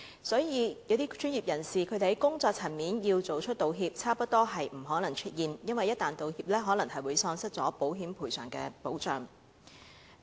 所以，要專業人士在工作層面道歉，差不多是不可能出現，因為一旦道歉，可能會喪失保險賠償的保障。